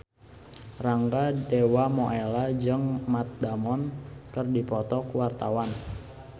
Rangga Dewamoela jeung Matt Damon keur dipoto ku wartawan